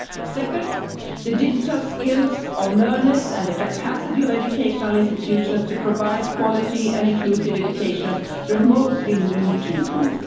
Second, the digital skills of learners and the capacity of educational institutions to provide quality and inclusive education remotely need to improve.